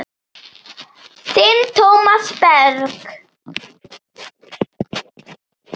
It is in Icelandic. Þinn Tómas Berg.